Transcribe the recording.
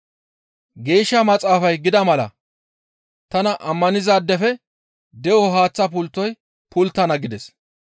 Geeshsha Maxaafay gida mala tana ammanizaadefe de7o haaththa pulttoy pulttana» gides.